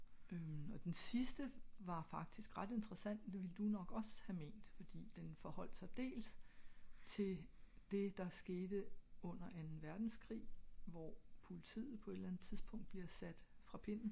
øhm og den sidste var faktisk ret interessant det ville du nok ogs ha ment da den forholdt sig dels til det der skete under anden verdenskrig hvor politiet på et eller andet tidspunkt bliver fra sat pinden